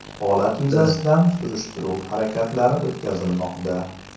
Holat yuzasidan surishtiruv harakatlari o‘tkazilmoqda.